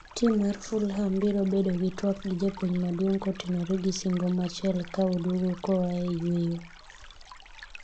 Tim mar Fulham biro bedo gi twak gi japuonj maduong' kotenore gi singo machiel ka oduogo koa e yueyo